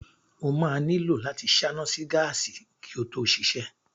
O máa nílò láti ṣáná sí gáàsì kí ó tó ṣiṣẹ́.